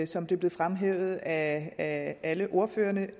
som det blev fremhævet af alle ordførerne